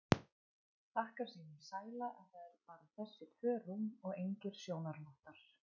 Þakkar sínum sæla að það eru bara þessi tvö rúm og engir sjónarvottar.